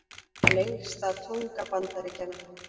Lengsta tunga Bandaríkjanna